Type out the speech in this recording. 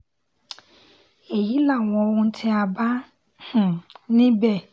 èyí làwọn ohun tí a bá um níbẹ̀